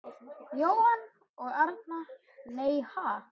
Jónmundur og Arnar: Nei, ha??